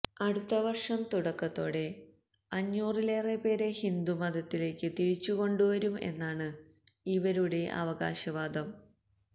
അടുത്ത വര്ഷം തുടക്കത്തോടെ അഞ്ഞൂറിലറെ പേരെ ഹിന്ദുമതത്തിലേക്ക് തിരിച്ചുകൊണ്ടുവരും എന്നാണ് ഇവരുടെ അവകാശ വാദം